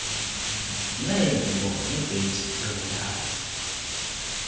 neengubo nebhedi yokulala